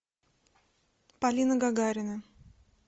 полина гагарина